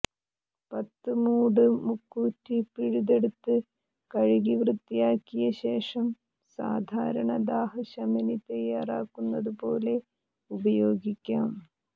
പത്ത് മൂട് മുക്കൂറ്റി പിഴുതെടുത്ത് കഴുകി വൃത്തിയാക്കിയ ശേഷം സാധാരണ ദാഹശമനി തയ്യാറാക്കുന്നതുപോലെ ഉപയോഗിക്കാം